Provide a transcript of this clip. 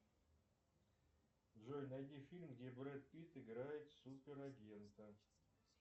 джой найди фильм где брэд питт играет суперагента